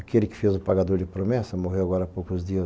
Aquele que fez o Pagador de Promessas, morreu agora há poucos dias, o...